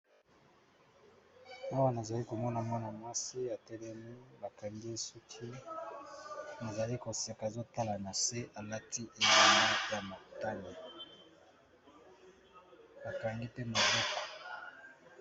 Awa nazali komona mwana mwasi ya telemu bakangi esuki nazali koseka zotala na se alati ea ma ya matale bakangi te moloko.